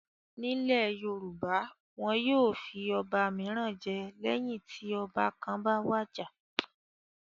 Nílẹ̀ Yorùbá, wọn yóò fi ọba mìíràn jẹ lẹ́yìn tí ọba kan bá wàjà.